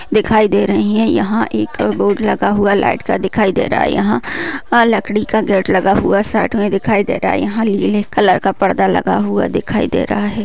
दिखाई दे रही है। यहा एक बोर्ड लगा हुआ लाइट का दिखाई दे रहा है। याहा आ लकड़ी का गेट लगा हुआ है साइक मे दिखाई दे रहा है। यहा ये नीले कलर का पर्दा लगा हुआ दिखाई दे रहा है।